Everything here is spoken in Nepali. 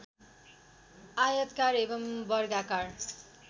आयताकार एवम् वर्गाकार